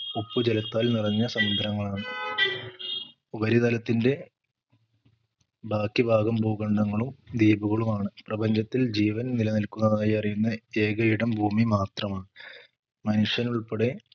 ഉപ്പു ജലത്താൽ നിറഞ്ഞ സമുദ്രങ്ങളാണ് ഉപരിതലത്തിന്റ ബാക്കി ഭാഗം ഭൂഖണ്ഡങ്ങളും ദ്വീപുകളുമാണ് പ്രപഞ്ചത്തിൽ ജീവൻ നിലനിൽക്കുന്നതായി അറിയുന്ന ഏക ഇടം ഭൂമി മാത്രമാണ്. മനുഷ്യനുൾപ്പെടെ